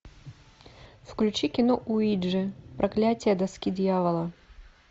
включи кино уиджи проклятие доски дьявола